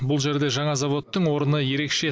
бұл жерде жаңа заводтың орны ерекше